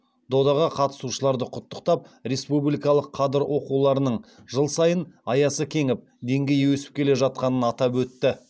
додаға қатысушыларды құттықтап республикалық қадыр оқуларының жыл сайын аясы кеңіп деңгейі өсіп келе жатқанын атап өтті